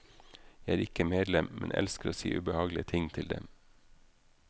Jeg er ikke medlem, men elsker å si ubehagelige ting til dem.